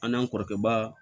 An n'an kɔrɔkɛba